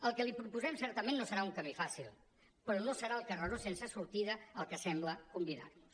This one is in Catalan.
el que li proposem certament no serà un camí fàcil però no serà el carreró sense sortida al que sembla convidar nos